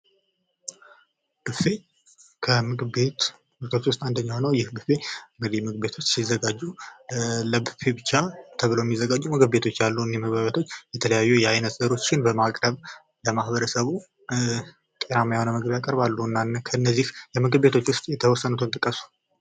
ቡፌ ከምግብ ቤት አይነቶች ውስጥ አንደኛ ነው ይህ ቡፌ በምግብ ቤቶች ውስጥ ሲዘጋጁ ለቡፌ ብቻ ተብሎ የሚዘጋጁ ምግቤቶች አሉ እነዚህ ምግብ ቤቶች የተለያዩ የእህል አይነቶችን በማቅረብ ለህብረተሰቡ ጤናማ የሆነ ምግብ ያቀርባሉ እና ከነዚህ ምግብ ቤቶች ውስጥ የተወሰኑትን ጥቀሱ?